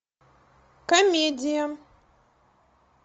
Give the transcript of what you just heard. комедия